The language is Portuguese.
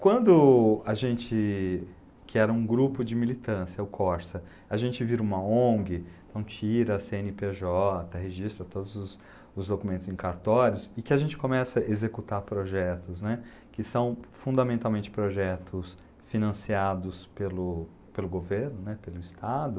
Quando a gente, que era um grupo de militância, o Corsa, a gente vira uma Ong, então, tira a cê ene pê jota, registra todos os os documentos em cartórios e que a gente começa a executar projetos, né, que são fundamentalmente projetos financiados pelo pelo governo, né, pelo Estado,